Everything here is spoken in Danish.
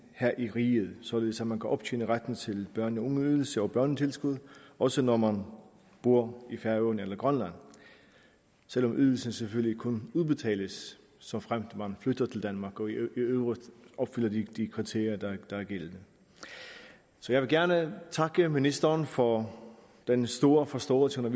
her i riget således at man kan optjene retten til børne og ungeydelse og børnetilskud også når man bor i færøerne eller i grønland selv om ydelsen selvfølgelig kun udbetales såfremt man flytter til danmark og i øvrigt opfylder de kriterier der er gældende så jeg vil gerne takke ministeren for den store forståelse hun